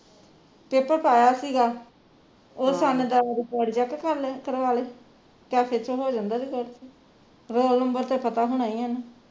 paper ਪਾਇਆ ਸੀਗਾ ਉਸ ਸੱਨ ਦਾ record check ਕਰਲੇ ਕਰਵਾ ਲੈ cafe ਤੋਂ ਹੋ ਜਾਂਦਾ ਜੇ check ਰੋਲ ਨੰਬਰ ਤੇ ਪਤਾ ਹੋਣਾ ਈ ਇਹਨੂੰ